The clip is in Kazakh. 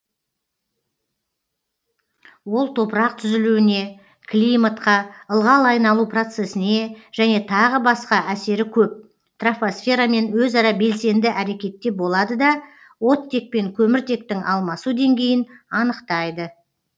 ол топырақ түзілуіне климатқа ылғал айналу процесіне және тағы басқа әсері көп тропосферамен өзара белсенді әрекетте болады да оттек пен көміртектің алмасу деңгейін анықтайды